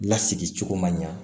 Lasigi cogo man ɲa